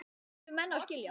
Þetta yrðu menn að skilja.